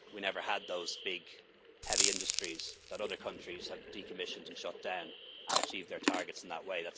We never had those big heavy industries that other countries have decommissioned and shut down, and achieved their targets in that